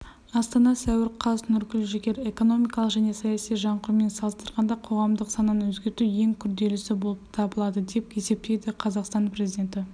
астана сәуір қаз нұргүл жігер экономикалық және саяси жаңғырумен салыстырғанда қоғамдық сананы өзгерту ең күрделісі болып табылады деп есептейді қазақстан президенті